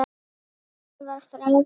Hann var frábær í dag.